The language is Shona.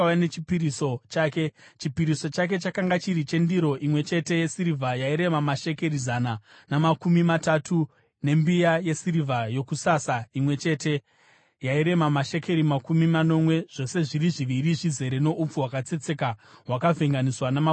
Chipiriso chake chakanga chiri chendiro imwe chete yesirivha yairema mashekeri zana namakumi matatu, nembiya yesirivha yokusasa imwe chete yairema mashekeri makumi manomwe zvose zviri zviviri zvizere noupfu hwakatsetseka hwakavhenganiswa namafuta sechipiriso chezviyo;